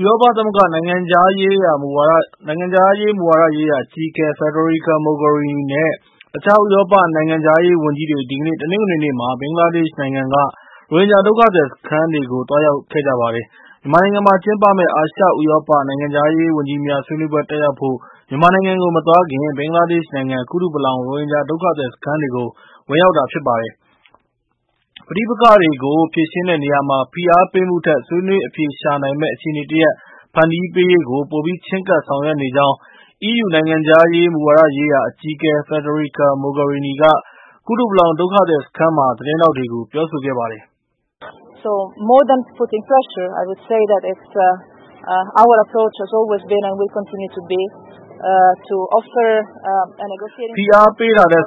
ဥရောပ သမဂ္ဂ နိုင်ငံခြားရေး မူဝါဒရေးရာ အကြီးအကဲ Federica Mogherini နဲ့ တခြား ဥရောပ နိုင်ငံခြားရေး ဝန်ကြီးတွေ ဒီကနေ့ တနင်္ဂနွေနေ့မှာ ဘင်္ဂလားဒေရှ့် နိုင်ငံက ရိုဟင်ဂျာ ဒုက္ခသည် စခန်းတွေကို သွားရောက်ခဲ့ကြပါတယ်။ မြန်မာနိုင်ငံမှာ ကျင်းပမယ့် အာရှ ဥရောပ နိုင်ငံခြားရေး ဝန်ကြီးများ ဆွေးနွေးပွဲ တက်ရောက်ဖို့ မြန်မာနိုင်ငံကို မသွားခင် ဘင်္ဂလားဒေရှ့် နိုင်ငံ ကူတုပလောင် ရိုဟင်ဂျာ ဒုက္ခသည် စခန်းတွေကို ဝင်ရောက်တာ ဖြစ်ပါတယ်။ ပဋိပက္ခကို ဖြေရှင်းတဲ့ နေရာမှာ ဖိအားပေးမှုထက် ဆွေးနွေး အဖြေရှာနိုင်မယ့် အခြေအနေ တရပ် ဖန်တီးပေးရေးကို ပိုပြီး ချဉ်းကပ် ဆောင်ရွက်နေကြောင်း EU နိုင်ငံခြားရေး မူဝါဒရေးရာ အကြီးအကဲ Federica Mogherini က ကူတုပလောင် ဒုက္ခသည် စခန်းမှာ သတင်းထောက်တွေကို ပြောဆိုခဲ့ပါတယ်။ "ဖိအားပေးတာထက်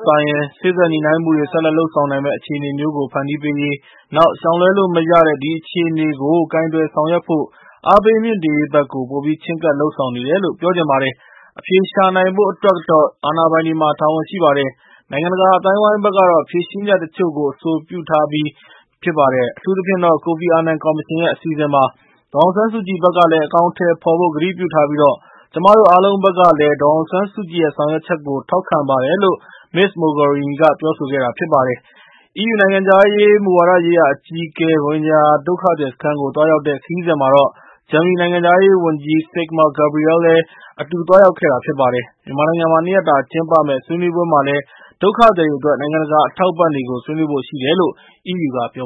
စာရင် စေ့စပ်ညှိနှိုင်းမှုတွေ ဆက်လက် လုပ်ဆောင်နိုင်မယ့် အခြေအနေမျိုးကို ဖန်တီးပေးရေး၊ နောက် ရှောင်လွှဲလို့ မရတဲ့ ဒီအခြေအနေကို ကိုင်တွယ်ဆောင်ရွက်ဖို့ အားပေးမြှင့်တင်ရေးဘက်ကို ပိုပြီး ချဉ်းကပ် လုပ်ဆောင်နေတယ်လို့ ပြောချင်ပါတယ်။ အဖြေရှာနိုင်ဖို့ အတွက်ကတော့ အာဏာပိုင်တွေမှာ တာဝန်ရှိပါတယ်။ နိုင်ငံတကာ အသိုင်းအဝိုင်းဘက်ကတော့ ဖြေရှင်းချက် တချို့ကို အဆိုပြုထားပြီး ဖြစ်ပါတယ်။ အထူးသဖြင့်တော့ ကိုဖီအာနန် ကော်မရှင်ရဲ့ အစီအစဉ်ပါ။ ဒေါ်အောင်ဆန်းစုကြည်ဘက်ကလည်း အကောင်အထည် ဖော်ဖို့ ကတိပြုထားပြီး ကျမတို့ အားလုံးဘက်ကလည်း ဒေါ်အောင်ဆန်းစုကြည်ရဲ့ ဆောင်ရွက်ချက်ကို ထောက်ခံပါတယ်"လို့ ပြောဆိုခဲ့တာ ဖြစ်ပါတယ်။ EU နိုင်ငံခြားရေး မူဝါဒ ရေးရာ အကြီးအကဲရဲ့ ရိုဟင်ဂျာ ဒုက္ခသည် စခန်းကို သွားရောက်တဲ့ ခရီးစဉ်မှာတော့ ဂျာမနီ နိုင်ငံခြားရေး ဝန်ကြီး Sigmar Gabriel လည်း အတူ သွားရောက်ခဲ့တာပါ။ မြန်မာနိုင်ငံမှာ ၂ ရက်တာ ကျင်းပမယ့် ဆွေးနွေးပွဲမှာလည်း ဒုက္ခသည်တွေ အတွက် နိုင်ငံတကာ အထောက်အပံ့တွေကို ဆွေးနွေးဖို့ ရှိတယ်လို့ EU က ပြော